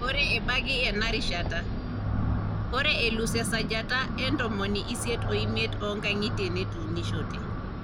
Ore ebaiki enarishata, ore elus esajata e ntomoni isiet o miet oo nkang`itie netuunishote.